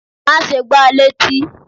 Má ṣe gbá létí!